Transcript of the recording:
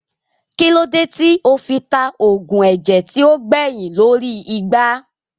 Kílódé tí ó fi ta oògùn ẹ̀jẹ̀ tí ó gbẹyìn lórí igbá